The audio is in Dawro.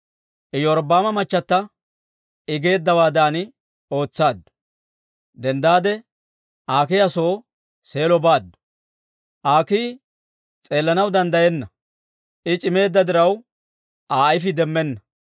Iyorbbaama machata I geeddawaadan ootsaaddu; denddaade Aakiya soo Seelo baaddu. Aakii s'eellanaw danddayenna; I c'immeedda diraw, Aa ayfii demmenna.